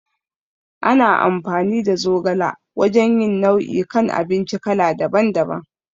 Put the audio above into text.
Ana amfani da zogala wajan yin nau'i kan abinci kala daban daban